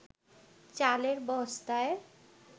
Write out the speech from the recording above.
চালের বস্তায়